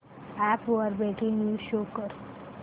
app वर breaking news show कर